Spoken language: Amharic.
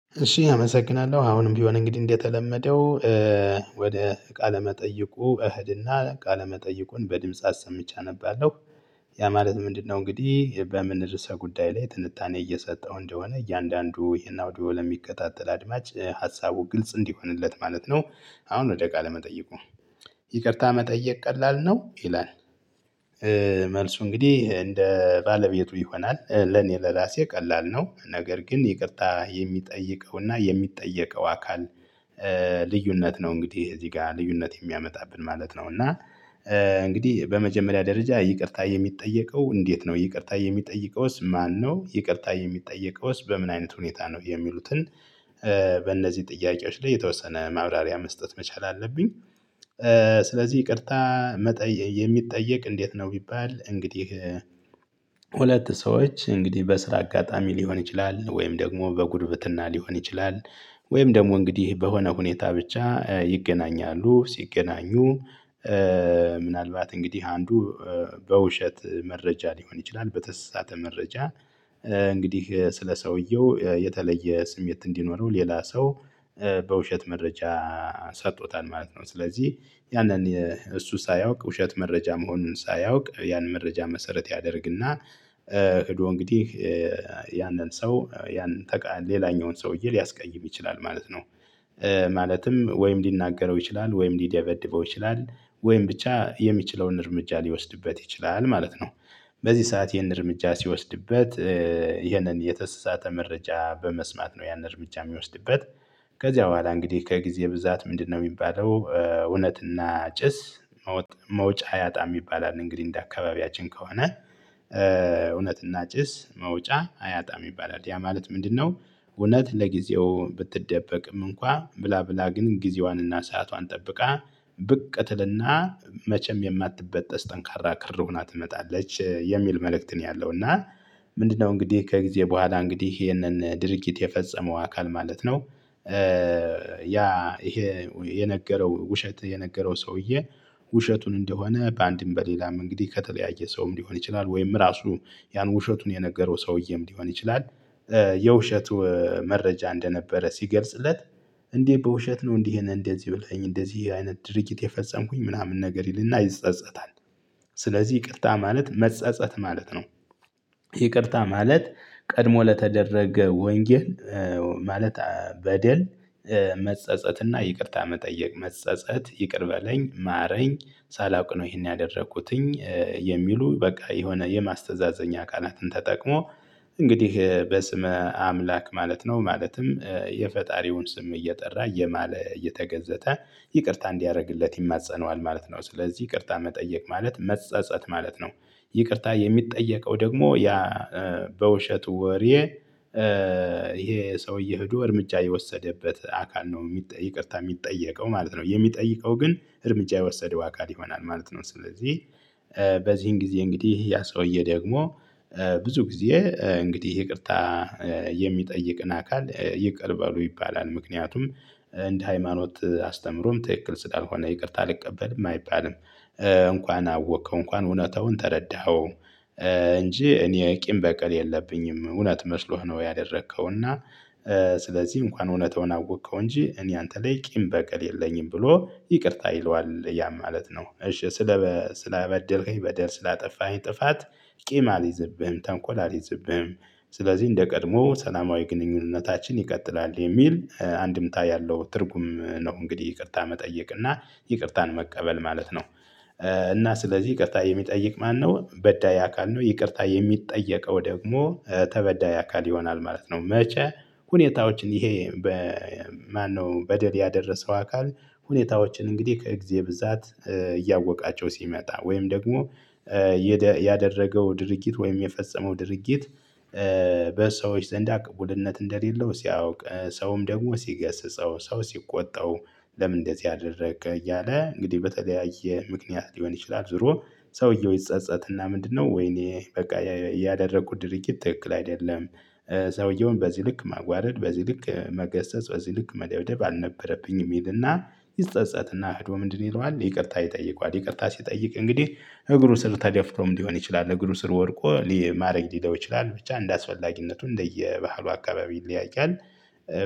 እሺ አመሰግናለሁ አሁንም ቢሆን እንግዲህ እንደተለመደው ወደ ቃለመጠየቁ እኸድና ቃለመጠይቁን በድምጽ አሰምቼ አነባለሁ። ያ ማለት ምንድነው? እንግዲህ በምን እርሰ ጉዳይ ላይ ትንታኔ እየሰጠሁ እንደሆነ እያንዳንዱ ይሄን አውዲዮ ለሚከታተል አድማጭ ሀሳቡ ግልጽ እንዲሆንለት ማለት ነው። አሁን ወደ ቃለ መጠየቁ ይቅርታ መጠየቅ ቀላል ነው ይላል። መልሱ እንግዲህ እንደ ባለቤቱ ይሆናል ለኔ ለራሴ ቀላል ነው ነገር ግን ይቅርታ የሚጠይቀውና የሚጠየቀው አካል። ልዩነት ነው እንግዲህ እዚህ ጋር ልዩነት የሚያመጣብን ማለት ነው። እና እንግዲህ በመጀመሪያ ደረጃ ይቅርታ የሚጠየቀው እንዴት ነው? ይቅርታ የሚጠይቀውስ ማነው? ይቅርታ የሚጠየቀውስ በምን አይነት ሁኔታ ነው የሚሉትን? በእነዚህ ጥያቄዎች ላይ የተወሰነ ማብራሪያ መስጠት መቻል አለብኝ። ስለዚህ ይቅርታ የሚጠየቅ እንዴት ነው? ቢባል እንግዲህ ሁለት ሰዎች እንግዲህ በስራ አጋጣሚ ሊሆን ይችላል ወይም ደግሞ በጉርብትና ሊሆን ይችላል። ወይም ደግሞ እንግዲህ በሆነ ሁኔታ ብቻ ይገናኛሉ ሲገናኙ። ምናልባት እንግዲህ አንዱ በውሸት መረጃ ሊሆን ይችላል በተሳተ መረጃ እንግዲህ ስለ ሰውየው የተለየ ስሜት እንዲኖረው ሌላ ሰው። በውሸት መረጃ ሰጥቶታል ማለት ነው። ስለዚህ ያንን እሱ ሳያውቅ ውሸት መረጃ መሆኑን ሳያውቅ ያን መረጃ መሰረት ያደርግና። ሂዶ እንግዲህ ያንን ሰው ያንን ተቃ ሌላኛውን ሰውዬ ሊያስቀይም ይችላል ማለት ነው። ማለትም ወይም ሊናገረው ይችላል ወይም ሊደበድበው ይችላል ወይም ብቻ የሚችለውን እርምጃ ሊወስድበት ይችላል ማለት ነው። በዚህ ሰዓት ይሄን እርምጃ ሲወስድበት። ይህንን የተስሳተ መረጃ በመስማት ነው ያን እርምጃ የሚወስድበት። ከዚያ በኋላ እንግዲህ ከጊዜ ብዛት ምንድነው የሚባለው? እውነትና ጭስ መውጫ ያጣ የሚባል አለ። እንግዲህ እንደ አካባቢያችን ከሆነ እውነትና ጭስ መውጫ አያጣም ይባላል። ያ ማለት ምንድነው? እውነት ለጊዜው ብትደበቅም እንኳን ብላ ብላ ግን ጊዜዋንና ሰአቷን ጠብቃ ብቅ ትልና መቼም የማትበጠስ ጠንካራ ክር ሆና ትመጣለች የሚል መልእክት ነው ያለው። እና ምንድነው እንግዲህ ከጊዜ በኋላ እንግዲህ ይሄንን ድርጊት የፈጸመው አካል ማለት ነው። ያ ይሄ የነገረው ውሸት የነገረው ሰውዬ። ውሸቱን እንደሆነ በአንድም በሌላም እንግዲህ ከተለያየ ሰውም ሊሆን ይችላል ወይም ራሱ ያን ውሸቱን የነገረው ሰውዬም ሊሆን ይችላል። የውሸት መረጃ እንደነበረ ሲገልጽለት እንዴ? በውሸት ነው እንዲህ ነው እንደዚህ ብለኸኝ እንደዚህ አይነት ድርጊት የፈጸምኩኝ ምናምን ነገር ይልና ይጸጸታል። ስለዚህ ይቅርታ ማለት መጸጸት ማለት ነው። ይቅርታ ማለት ቀድሞ ለተደረገ ወንጌል ማለት በደል። መጸጸትና ይቅርታ መጠየቅ መጸጸት ይቅር በለኝ ማረኝ ሳላውቅ ነው ይሄን ያደረኩትኝ። የሚሉ በቃ የሆነ የማስተዛዘኛ ቃናትን ተጠቅሞ እንግዲህ በስመ አምላክ ማለት ነው ማለትም የፈጣሪውን ስም እየጠራ እየማለ እየተገዘተ ይቅርታ እንዲያደርግለት ይማፀነዋል ማለት ነው። ስለዚህ ይቅርታ መጠየቅ ማለት መጸጸት ማለት ነው። ይቅርታ የሚጠየቀው ደግሞ ያ በውሸት ወሬ። ይሄ ሰውዬ ሂዶ እርምጃ የወሰደበት አካል ነው የሚጠይቅታ የሚጠየቀው ማለት ነው። የሚጠይቀው ግን እርምጃ የወሰደው አካል ይሆናል ማለት ነው። ስለዚህ በዚህን ጊዜ እንግዲህ ያ ሰውዬ ደግሞ ብዙ ጊዜ እንግዲህ ይቅርታ የሚጠይቅን አካል ይቅር በሉ ይባላል ምክንያቱም እንደ ሃይማኖት አስተምሮም ትክክል ስላልሆነ ይቅርታ አልቀበልም አይባልም። እንኳን አወከው እንኳን እውነታውን ተረዳኸው። እንጂ እኔ ቂም በቀል የለብኝም እውነት መስሎህ ነው ያደረከው እና። ስለዚህ እንኳን እውነታውን አወቅከው እንጂ እኔ አንተ ላይ ቂም በቀል የለኝም ብሎ ይቅርታ ይለዋል ያም ማለት ነው። እሺ ስለ ስለበደለኝ በደል ስላጠፋኝ ጥፋት። ቂም አልይዝብህም ተንኮል አልይዝብህም። ስለዚህ እንደ ቀድሞ ሰላማዊ ግንኙነታችን ይቀጥላል የሚል አንድምታ ያለው ትርጉም ነው። እንግዲህ ይቅርታ መጠየቅ እና ይቅርታን መቀበል ማለት ነው። እና ስለዚህ ይቅርታ የሚጠይቅ ማነው በዳይ አካል ነው። ይቅርታ የሚጠየቀው ደግሞ ተበዳይ አካል ይሆናል ማለት ነው። መቼ ሁኔታዎችን ይሄ በማነው በደል ያደረሰው አካል ሁኔታዎችን እንግዲህ ከእግዜ ብዛት እያወቃቸው ሲመጣ ወይም ደግሞ ያደረገው ድርጊት ወይም የፈጸመው ድርጊት በሰዎች ዘንዳ ቅቡልነት እንደሌለው ሲያውቅ ሰውም ደግሞ ሲገስጸው ሰው ሲቆጣው። ለምን እንደዚህ አደረገ? እያለ እንግዲህ በተለያየ ምክንያት ሊሆን ይችላል ዞሮ ሰውየው ይጸጸትና ምንድነው ወይኔ በቃ ያደረጉ ድርጊት ትክክል አይደለም። ሰውየውን በዚህ ልክ ማዋረድ በዚህ ልክ መገሰጽ በዚህ ልክ መለወደብ አልነበረብኝም ይልና። ይጸጸትና ህዶ ምንድን ይለዋል ይቅርታ ይጠይቋል። ይቅርታ ሲጠይቅ እንግዲህ እግሩ ስር ተደፍቶም ሊሆን ይችላል እግሩ ስር ወድቆ ሊ ማረኝ ሊለው ይችላል ብቻ እንደአስፈላጊነቱ እንደየባህሉ አካባቢ ይለያያል።